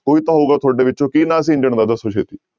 ਕੋਈ ਤਾਂ ਹੋਊਗਾ ਤੁਹਾਡੇ ਵਿੱਚੋਂ, ਕੀ ਨਾਂ ਸੀ ਇੰਜਣ ਦਾ ਦੱਸੋ ਛੇਤੀ।